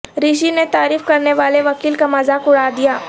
رشی نے تعریف کرنے والے وکیل کا مذاق اڑادیا